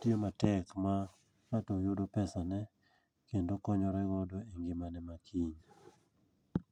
tiyo matek ma ng'ato yudo pesane kendo okonyore godo e ngimane ma kiny.